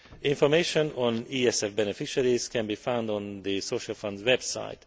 Information on ESF beneficiaries can be found on the Social Fund's website.